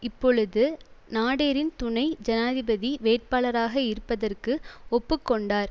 இப்பொழுது நாடெரின் துணை ஜனாதிபதி வேட்பாளராக இருப்பதற்கு ஒப்பு கொண்டார்